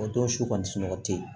O don su kɔni sunɔgɔ tɛ yen